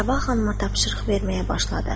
Sabah xanıma tapşırıq verməyə başladı.